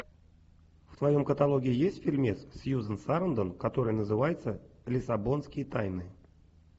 в твоем каталоге есть фильмец с сьюзен сарандон который называется лиссабонские тайны